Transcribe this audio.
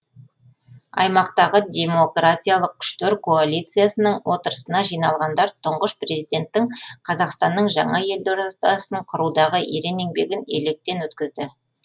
аймақтағы демократиялық күштер коалициясының отырысына жиналғандар тұңғыш президенттің қазақстанның жаңа елдордасын құрудағы ерен еңбегін електен өткізді